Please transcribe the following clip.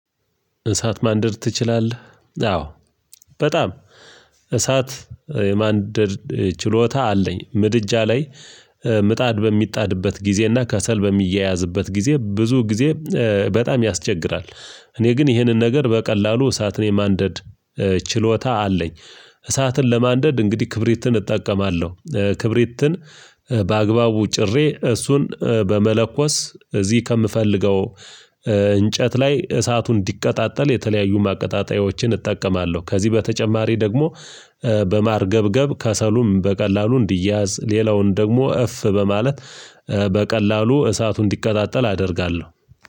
እሳት ማንደድ ትችላለህ? አዎ በጣም እሳት የማንደድ ችሎታ አለኝ፤ ምድጃ ላይ ምጣድ በሚጣድበት ጊዜ እና ከሰል በሚያያዝበት ጊዜ ብዙ ጊዜ በጣም ያስቸግራል እኔ ግን ይህንን ነገር በቀላሉ እሳትን የማንደድ ችሎታ አለኝ እሳትን ለማንደድ እንግዲህ ክብሪትን እጠቀማለሁ፤ ክብሪትን በአግባቡ ጭሬ እሱን በመለኮስ እዚህ ከምፈልገው እንጨት ላይ እሳቱን እንዲቀጣጠል የተለያዩ ማቀጣጣያዎችን እጠቀማለሁ ከዚህ በተጨማሪ ደግሞ በማርገብገብ ከሰሉም በቀላሉ እንዲያዝ ሌላውን ደግሞ እፍ በማለት በቀላሉ እሳቱ እንዲቀጣጠል አደርጋለሁ።